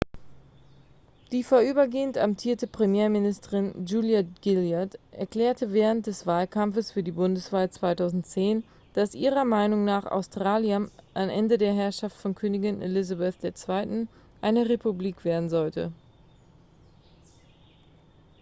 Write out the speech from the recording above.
die vorübergehend amtierende premierministerin julia gillard erklärte während des wahlkampfes für die bundeswahl 2010 dass ihrer meinung nach australien am ende der herrschaft von königin elizabeth ii eine republik werden sollte